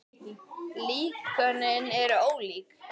Líkönin eru ólík.